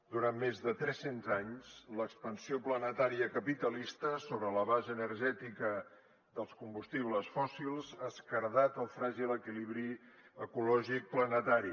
durant més de tres cents anys l’expansió planetària capitalista sobre la base energètica dels combustibles fòssils ha esquerdat el fràgil equilibri ecològic planetari